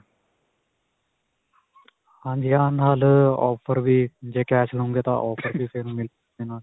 ਹਾਂਜੀ ਹਾਂ, ਨਾਲ ਅਅ offer ਵੀ ਜੇ cash ਲਵੋਗੇ, ਤਾਂ offer ਵੀ ਫ਼ਿਰ ਮਿਲ .